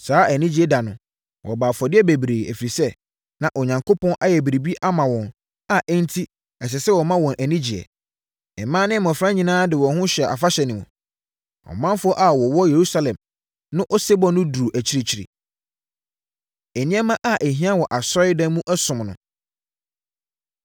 Saa anigyeɛ da no, wɔbɔɔ afɔdeɛ bebree, ɛfiri sɛ, na Onyankopɔn ayɛ biribi ama wɔn a enti ɛsɛ sɛ wɔma wɔn ani gyeɛ. Mmaa ne mmɔfra nyinaa de wɔn ho hyɛɛ afahyɛ no mu, na ɔmanfoɔ a wɔwɔ Yerusalem no osebɔ no duruu akyirikyiri. Nneɛma A Ɛhia Wɔ Asɔredan Mu Ɔsom Mu